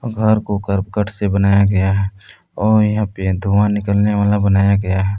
घर को करकट से बनाया गया है और यहां पे धुआं निकलने वाला बनाया गया है।